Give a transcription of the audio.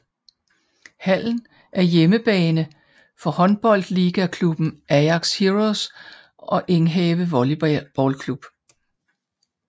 Hallen er hjemmebane for håndboldligaklubben Ajax Heroes og Enghave Volleyballklub